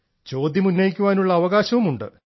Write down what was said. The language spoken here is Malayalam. ചോദ്യം ഉന്നയിക്കാനുള്ള അവകാശവുമുണ്ട്